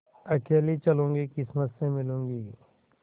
अकेली चलूँगी किस्मत से मिलूँगी